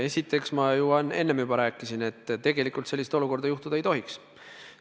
Esiteks, ma enne juba rääkisin, et tegelikult sellist olukorda tekkida ei tohiks.